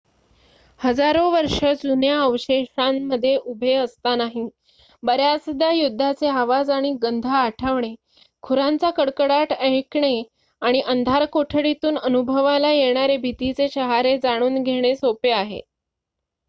हजारो वर्ष जुन्या अवशेषांमध्ये उभे असतानाही बर्‍याचदा युद्धाचे आवाज आणि गंध आठवणे खुरांचा कडकडाट ऐकणे आणि अंधारकोठडीतून अनुभवला येणारे भीतीचे शहारे जाणून घेणे सोपे आहे